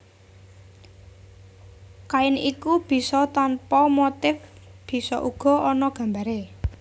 Kain iku bisa tanpa motif bisa uga ana gambaré